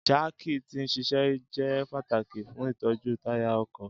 Jaaki ti n ṣiṣẹ jẹ pataki fun itọju taya ọkọ.